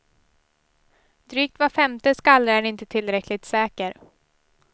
Drygt var femte skallra är inte tillräckligt säker.